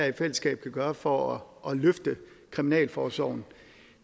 i fællesskab kan gøre for at løfte kriminalforsorgen